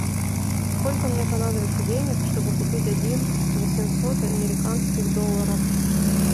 сколько мне понадобится денег чтобы купить один восемьсот американских долларов